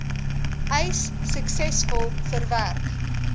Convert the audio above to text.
eis suksesvol verwerk